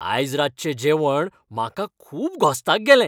आयज रातचें जेवण म्हाका खूब घोस्ताक गेलें